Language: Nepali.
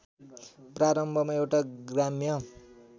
प्रारम्भमा एउटा ग्राम्य